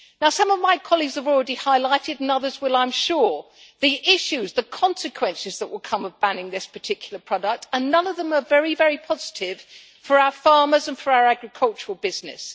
Some of my colleagues have already highlighted and others will, I am sure the issues, the consequences, that will come of banning this particular product, and none of them are very positive for our farmers and for our agricultural business.